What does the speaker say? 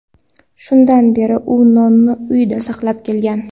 Shundan beri u nonni uyida saqlab kelgan.